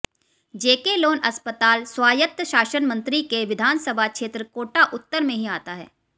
जेके लोन अस्पताल स्वायत्त शासन मंत्री के विधानसभा क्षेत्र कोटा उत्तर में ही आता है